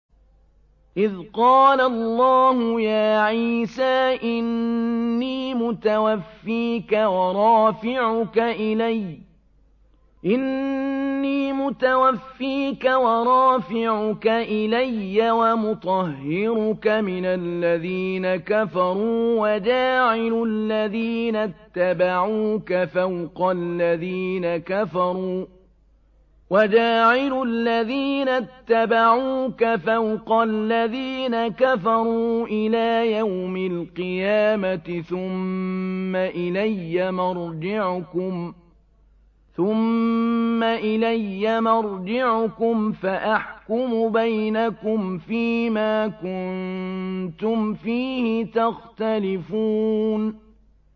إِذْ قَالَ اللَّهُ يَا عِيسَىٰ إِنِّي مُتَوَفِّيكَ وَرَافِعُكَ إِلَيَّ وَمُطَهِّرُكَ مِنَ الَّذِينَ كَفَرُوا وَجَاعِلُ الَّذِينَ اتَّبَعُوكَ فَوْقَ الَّذِينَ كَفَرُوا إِلَىٰ يَوْمِ الْقِيَامَةِ ۖ ثُمَّ إِلَيَّ مَرْجِعُكُمْ فَأَحْكُمُ بَيْنَكُمْ فِيمَا كُنتُمْ فِيهِ تَخْتَلِفُونَ